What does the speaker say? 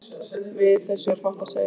Við þessu er fátt að segja.